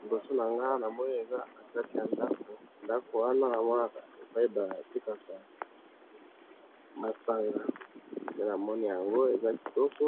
Liboso nanga awa, namoni eza katikati yandako, ndako wana namonaka epayi batekaka masanga, nde namoni yango eza kitoko,